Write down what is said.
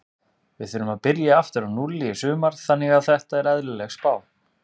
Við þurfum að byrja aftur á núlli í sumar þannig að þetta er eðlileg spá.